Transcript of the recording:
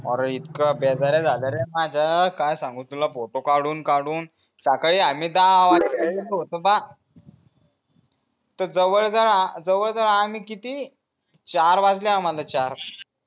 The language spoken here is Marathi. आरे जाल्या रे माज्या काय सांगू तुला photo काढून काढून सकाळी आम्ही दहा वाजता गेलो होतो ना त जवळ जरा जवळ जवळ आम्ही किती चार वाजले आम्हाला चार